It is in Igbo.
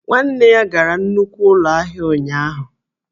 Nwanne ya gara nnukwu ụlọ ahịa ụnyaahụ